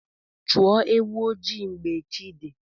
Chụọ ewu ojii mgbe chi dị.